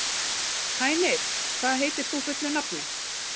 Hænir, hvað heitir þú fullu nafni?